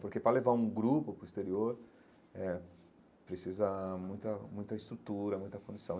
Porque para levar um grupo para o exterior eh, precisa muita muita estrutura, muita condição.